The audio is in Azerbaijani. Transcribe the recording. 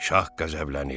Şah qəzəblənir.